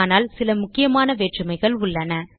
ஆனால் சில முக்கியமான வேற்றுமைகள் உள்ளன